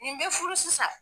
Nin bɛ furu sisan.